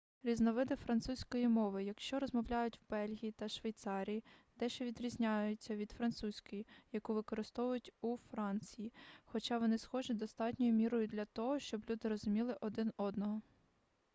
різновиди французької мови якою розмовляють в бельгії та швейцарії дещо відрізняються від французької яку використовують у франції хоча вони схожі достатньою мірою для того щоб люди розуміли один одного